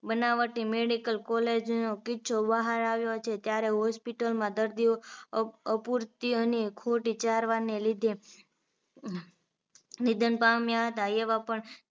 બનાવટી medical college ઓ નો કિસ્સો બહાર આવ્યો છે ત્યારે hospital માં દર્દીઓ અપૂરતી અને ખોટી સારવારને લીધે નિધન પામ્યા હતા એવા પણ